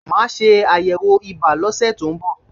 Màá ṣe àyẹ̀wò ibà lọ́sẹ̀ tó ń bọ̀